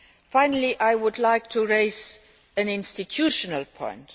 Finally I would like to raise an institutional point.